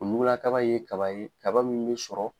Nula kaba ye kaba ye kaba min bɛ sɔrɔ.